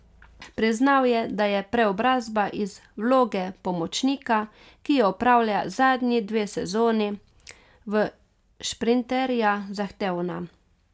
Priznal je, da je preobrazba iz vloge pomočnika, ki jo opravlja zadnji dve sezoni, v šprinterja zahtevna.